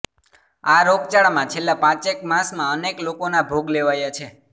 આ રોગચાળામાં છેલ્લા પાંચેક માસમાં અનેક લોકોના ભોગ લેવાયા છે